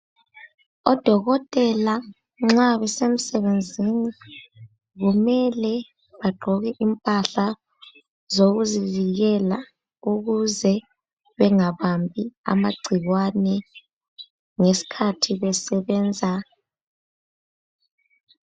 Odokotela nxa kusemsebenzini kumele bagqoke impahla zokuzivikela ukuze bengabambi amagcikwane ngesikhathi besebenza.